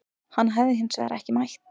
Hann hafi hins vegar ekki mætt